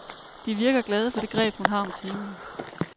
De virker glade for det greb, hun har om timen.